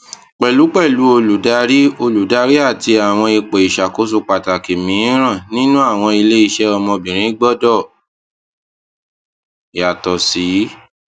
pẹlupẹlu oludari oludari ati awọn ipo iṣakoso pataki miiran ninu awọn ileiṣẹ ọmọbirin gbọdọ yato si